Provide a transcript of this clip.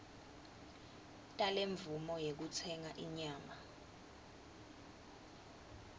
talemvumo yekutsenga inyama